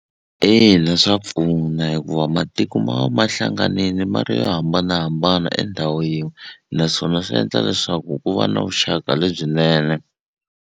Ina swa pfuna hikuva matiko ma va ma hlanganile ma ri yo hambanahambana endhawu yin'we naswona swi endla leswaku ku va na vuxaka lebyinene.